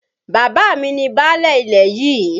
Bàbá mi ni báálẹ̀ ilẹ̀ yìí.